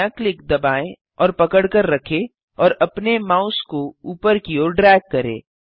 बायाँ क्लिक दबाएँ और पकड़कर रखें और अपने माउस को ऊपर की ओर ड्रैग करें